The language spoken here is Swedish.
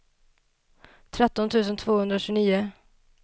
tretton tusen tvåhundratjugonio